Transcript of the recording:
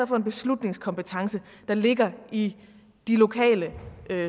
for en beslutningskompetence der ligger i de lokale